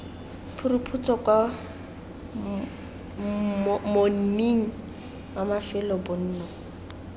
phuruphutso kwa monning wa mafelobonno